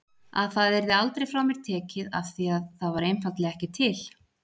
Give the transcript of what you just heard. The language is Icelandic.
Að það yrði aldrei frá mér tekið afþvíað það var einfaldlega ekki til.